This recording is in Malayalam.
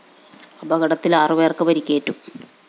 അപകടത്തില്‍ ആറു പേര്‍ക്ക് പരിക്കേറ്റു